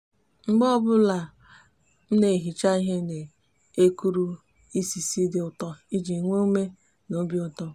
mgbe obula o n'ehicha ihe o n'ekuru isisi di uto iji nwe ume na obiuto